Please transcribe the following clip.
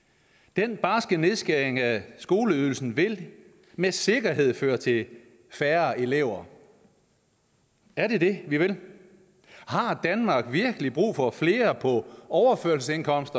den barske nedskæring af skoleydelsen vil med sikkerhed føre til færre elever er det det vi vil har danmark virkelig brug for flere på overførselsindkomst